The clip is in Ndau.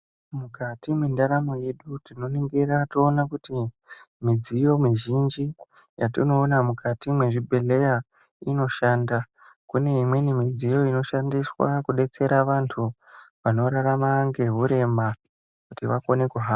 Mujati mwendaramo yedu tinoningira toona kuti midziyo mizhinji yatinoona mukati mwezvibhedhleya inoshanda kune imweni midziyo inoshanda kudetsera vantu vanorarama ngehurema kuti vakone kuhamba.